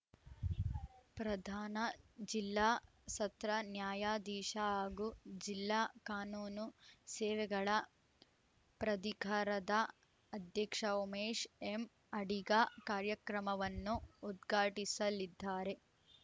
ಪ್ರಧಾನ ಜಿಲ್ಲಾ ಸತ್ರ ನ್ಯಾಯಾಧೀಶ ಹಾಗೂ ಜಿಲ್ಲಾ ಕಾನೂನು ಸೇವೆಗಳ ಪ್ರಧಿಕಾರದ ಅಧ್ಯಕ್ಷ ಉಮೇಶ್‌ ಎಂಅಡಿಗ ಕಾರ್ಯಕ್ರಮವನ್ನು ಉದ್ಘಾಟಿಸಲಿದ್ದಾರೆ